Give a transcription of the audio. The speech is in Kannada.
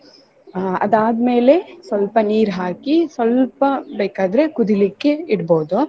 ಅಹ್ ಅದಾದ್ಮೇಲೆ ಸ್ವಲ್ಪ ನೀರು ಹಾಕಿ ಸ್ವಲ್ಪ ಬೇಕಾದ್ರೆ ಕುದಿಲಿಕ್ಕೆ ಇಡ್ಬೋದು.